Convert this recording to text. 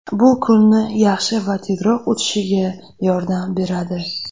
Bu kunni yaxshi va tezroq o‘tishiga yordam beradi.